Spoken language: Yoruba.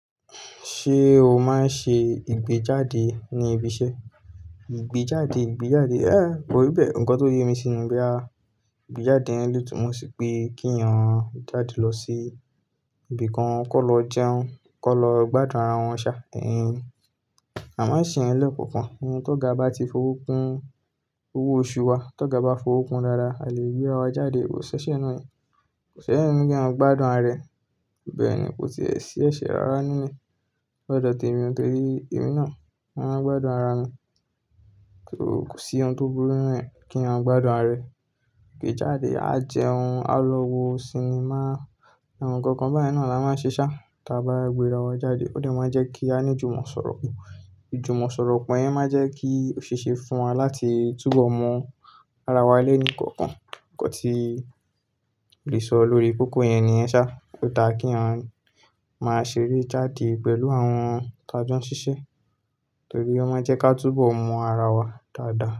Ṣé o máa ń ṣe ìgbéjáde ní ibi iṣẹ́? Ìgbéjáde, ìgbéjáde. É, ko rí bẹ́ẹ̀. Ǹkan tó yé mi si ni boyà, ìgbéjáde yẹn le tún mo sì pe kí a jáde lọ sí ibìkan kó lọ jẹun, kó lọ gbádùn ara wọn ṣá. Ẹ̀yin, a máa ń ṣe yẹn lẹ́ẹ̀kọ̀kan. Ohun tó ga ba ti fowó kun owó oṣù wa, tó ga ba fowó kun dáadáa, a lè gbéra wa jáde. Kò sẹ́ṣẹ nù ẹ́, kò sẹ́ṣẹ nù kí a gbádùn ara rẹ̀. Bẹ́ẹ̀ ni, kò tíì ṣi ẹ̀ṣẹ̀ rárá nínú. Ni odo te mi nítorí èmi náà, mo máa ń gbádùn ara mi. Kò sí ohun tó burú nínú rẹ̀ kí eyan gbádùn ara rẹ̀. Kí ì jáde, á jẹun, á lọ wo sinimá, àwọn nǹkan kan báyìí náà la máa ń ṣe ṣá táa bá gbéra wa jáde. Ó de máa ń jẹ́ kí a ní jùmọ̀ sọ̀rọ̀ pọ̀. Ìjùmọ̀ sọ̀rọ̀ pọ̀ yẹn máa ń jẹ́ kí ó ṣe é ṣe fún wa láti túbọ̀ mọ ara wa lẹ́ẹ̀kọ̀kan. Ǹkan tí ó lè sọ lórí kókó yẹn ni yen sá. Ó da kí eniyan máa ṣe eré jáde pẹ̀lú àwọn ti a jo n sise torí ó máa ń jẹ́ ká túbọ̀ mọ ara wa dáadáa.